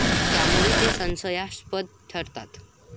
त्यामुळेच ते संशयास्पद ठरतात.